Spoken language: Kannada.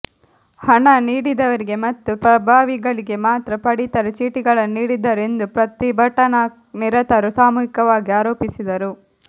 ಹಣ ನೀಡಿದವರಿಗೆ ಮತ್ತು ಪ್ರಭಾವಿಗಳಿಗೆ ಮಾತ್ರ ಪಡಿತರ ಚೀಟಿಗಳನ್ನು ನೀಡಿದ್ದಾರೆ ಎಂದು ಪ್ರತಿಭಟನಾ ನಿರತರು ಸಾಮೂಹಿಕವಾಗಿ ಆರೋಪಿಸಿದರು